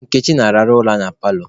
Nkechi na-arahụ ụra na paalọ